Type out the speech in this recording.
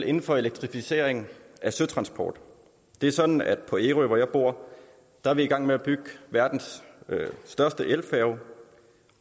inden for elektrificering af søtransport det er sådan at på ærø hvor jeg bor er vi i gang med at bygge verdens største elfærge